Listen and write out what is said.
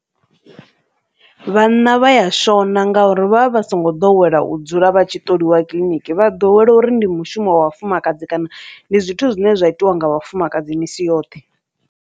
Vhanna vha ya shona ngauri vha vha vha songo ḓowela u dzula vha tshi ṱoliwa kiḽiniki vha ḓowela uri ndi mushumo wa vhafumakadzi kana ndi zwithu zwine zwa itiwa nga vhafumakadzi misi yoṱhe.